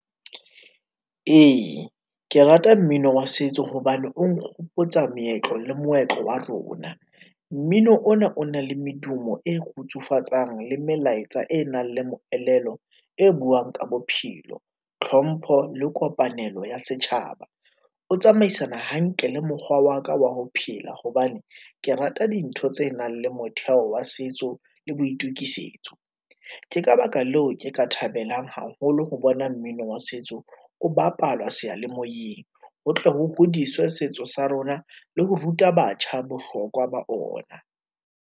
Ee, ke rata mmino wa setso hobane o nkgopotsa meetlo le moetlo wa rona. Mmino ona o na le medumo e kgutsufatsang le melaetsa e nang le moelelo e buang ka bophelo, tlhompho le kopanelo ya setjhaba. O tsamaisana hantle le mokgwa wa ka wa ho phela hobane ke rata dintho tse nang le motheo wa setso le boitukisetso. Ke ka baka leo ke ka thabelang haholo ho bona mino wa setso o bapalwa seyalemoyeng ho tle ho hodiswe setso sa rona le ho ruta batjha bohlokwa ba ona.